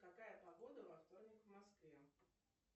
какая погода во вторник в москве